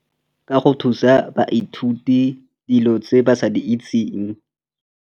Ka go thusa baithuti dilo tse ba sa di itseng.